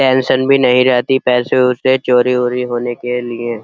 Pension भी नहीं रहती पैसे वैसे चोरी वोरी होने के लिए।